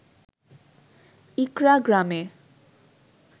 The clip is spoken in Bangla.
ইকড়া গ্রামে